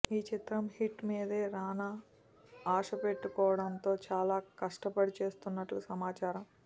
ఈ చిత్రం హిట్ మీదే రానా ఆస పెట్టుకోవడంతో చాల కస్టపడి చేస్తున్నట్లు సమాచారం